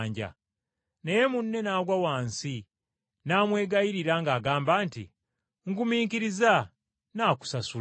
“Naye munne n’agwa wansi, n’amwegayirira ng’agamba nti, ‘Ngumiikiriza, nnaakusasula.’